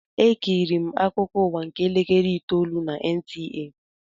Ekiriri m akụkọ ụwa nke elekere itoolu na NTA.